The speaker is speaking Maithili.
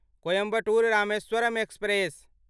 कोइम्बटोर रामेश्वरम एक्सप्रेस